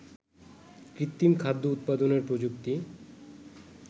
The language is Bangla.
কৃত্রিম খাদ্য উৎপাদনের প্রযুক্তি